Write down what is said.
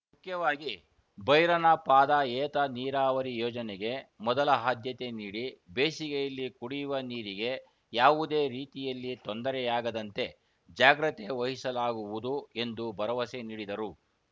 ಮುಖ್ಯವಾಗಿ ಭೈರನಪಾದ ಏತ ನೀರಾವರಿ ಯೋಜನೆಗೆ ಮೊದಲ ಹಾದ್ಯತೆ ನೀಡಿ ಬೇಸಿಗೆಯಲ್ಲಿ ಕುಡಿಯುವ ನೀರಿಗೆ ಯಾವುದೇ ರೀತಿಯಲ್ಲಿ ತೊಂದರೆಯಾಗದಂತೆ ಜಾಗ್ರತೆ ವಹಿಸಲಾಗುವುದು ಎಂದು ಭರವಸೆ ನೀಡಿದರು